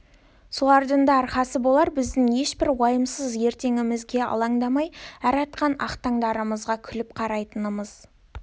солардың да арқасы болар біздің ешбір уайымсыз ертеңімізге аландамай әр атқан ақ таңдарымызға күліп қарайтынымыз